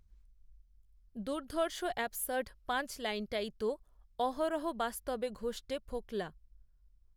দুধর্র্ষঅ্যাবসার্ড punch লাইনটাই তোঅহরহ বাস্তবে ঘষটে ফোকলা